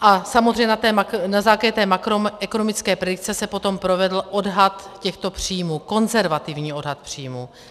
A samozřejmě na základě té makroekonomické predikce se potom provedl odhad těchto příjmů, konzervativní odhad příjmů.